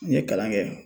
N ye kalan kɛ